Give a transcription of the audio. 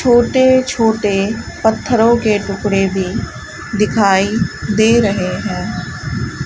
छोटे-छोटे पत्थरों के टुकड़े भी दिखाई दे रहे हैं।